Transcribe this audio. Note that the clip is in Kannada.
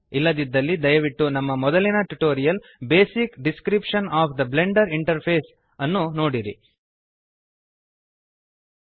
ಇಲ್ಲದಿದ್ದಲ್ಲಿ ದಯವಿಟ್ಟು ನಮ್ಮ ಮೊದಲಿನ tutorial basic description of the Blender interface basic description of the Blender interface ಅನ್ನು ನೋಡಿರಿ